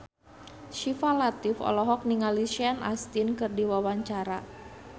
Syifa Latief olohok ningali Sean Astin keur diwawancara